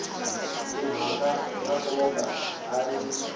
timhaka ta nkoka a yi